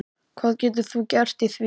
Hvað getur þú gert í því?